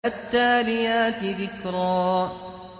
فَالتَّالِيَاتِ ذِكْرًا